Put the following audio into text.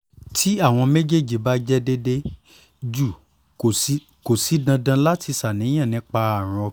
ti awọn mejeeji ba jẹ deede ju ko si dandan lati ṣàníyàn nipa arun ọkan